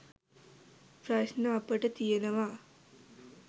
ප්‍රශ්ණ අපට තියනවා